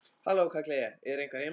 Halló, kalla ég, er einhver heima?